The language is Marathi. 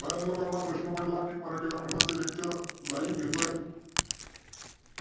बऱ्याच लोकांना प्रश्न पडला की मराठी व्याकरणाचे Lecture live घेतोय.